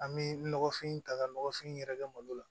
An bɛ nɔgɔfin ta ka nɔgɔfin yɛrɛ kɛ malo la